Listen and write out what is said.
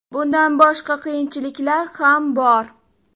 Bundan boshqa qiyinchiliklar ham bor.